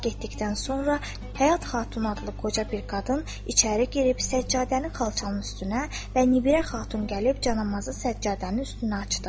Bunlar getdikdən sonra Həyat Xatun adlı qoca bir qadın içəri girib səccadəni xalçanın üstünə və Nibirə Xatun gəlib canamazı səccadənin üstünə açdı.